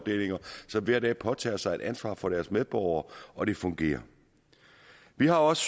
som hver dag påtager sig et ansvar for deres medborgere og det fungerer vi har også